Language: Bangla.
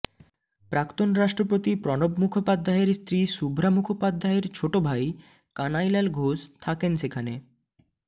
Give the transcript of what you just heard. প্রাক্তন রাষ্ট্রপতি প্রণব মুখোপাধ্যায়ের স্ত্রী শুভ্রা মুখোপাধ্যায়ের ছোট ভাই কানাইলাল ঘোষ থাকেন সেখানে